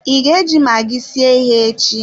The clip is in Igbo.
I ga eji magi sie ihe echi?